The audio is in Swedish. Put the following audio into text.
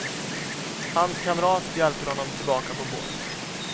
Hans kamrat hjälper honom tillbaka på båten.